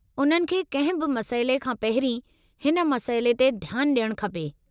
उन्हनि खे किंहिं बि मसइले खां पहिरीं हिन मसइले ते ध्यानु डि॒यणु खपे।